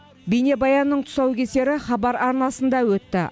бейнебаянның тұсаукесері хабар арнасында өтті